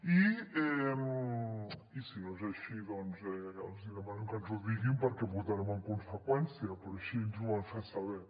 i si no és així doncs els demanem que ens ho diguin perquè votarem en conseqüència però així ens ho van fer saber